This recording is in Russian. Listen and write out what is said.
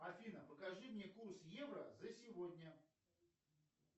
афина покажи мне курс евро за сегодня